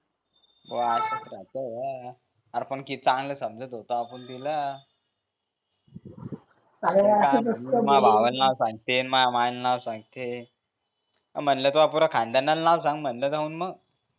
भो असाच राहत का आर पण किती चांगलं समजत होतो आपण तिला अरे असच असते मह्या भावाले नाव सांगते न मह्या मायले नाव सांगते म्हणलं तुह्या पुऱ्या खानदानाले नाव सांग त मग मह